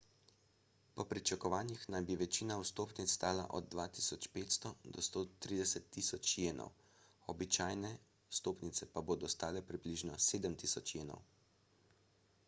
po pričakovanjih naj bi večina vstopnic stala od 2500 do 130.000 jenov običajne vstopnice pa bodo stale približno 7000 jenov